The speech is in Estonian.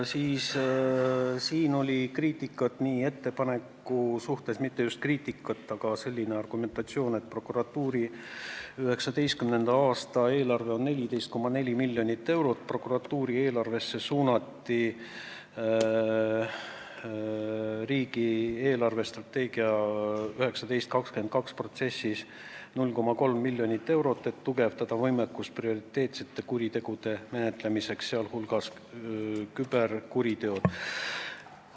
Selle ettepaneku puhul oli kriitika, õigemini mitte just kriitika, vaid argumentatsioon säärane, et prokuratuuri 2019. aasta eelarve on 14,4 miljonit eurot, prokuratuuri eelarvesse suunati riigi eelarvestrateegia 2019–2022 protsessis 0,3 miljonit eurot, et suurendada võimekust prioriteetsete kuritegude, sh küberkuritegude menetlemiseks.